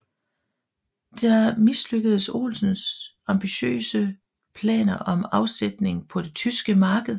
Der mislykkedes Olsens ambitiøse planer om afsætning på det tyske marked